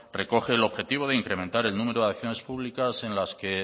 recoge el objetivo de incrementar el número de acciones públicas en las que